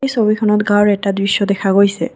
ছবিখনত গাওঁৰ এটা দৃশ্য দেখা গৈছে।